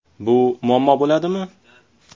Bu muammo bo‘ladimi?